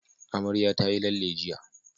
Amarya tayi lalle jiya.